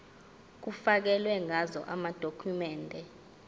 kufakelwe ngazo amadokhumende